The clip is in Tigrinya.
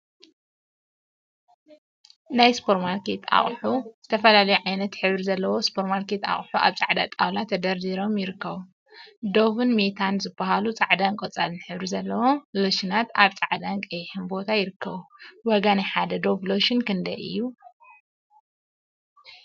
ናይ ሱፐርማርኬት አቁሑ ዝተፈላለዩ ዓይነትን ሕብሪን ዘለዎም ሱፐር ማርኬት አቁሑ አብ ፃዕዳ ጣውላ ተደርዲሮም ይርከቡ፡፡ ዶቭን ሜታን ዝበሃሉ ፃዕዳን ቆፃልን ሕብሪ ዘሎዎም ሎሽናት አብ ፃዕዳን ቀይሕን ቦታ ይርከቡ፡፡ ዋጋ ናይ ሓደ ዶቭ ሎሽን ክንደይ እዩ?